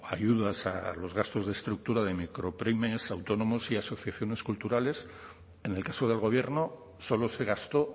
a ayudas a los gastos de estructura de micropymes autónomos y asociaciones culturales en el caso del gobierno solo se gastó